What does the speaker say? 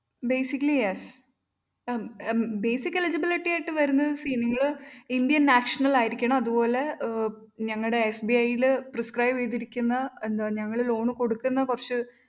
basically yes ah basical eligibility ആയിട്ട് വരുന്നത് see നിങ്ങള്‍ indian national ആയിരിക്കണം അതുപോലെ ആഹ് ഞങ്ങടെ RBI യില് priscribe ചെയ്തിരിക്കുന്ന ഞങ്ങള് loan കൊടുക്കുന്ന കുറച്ച്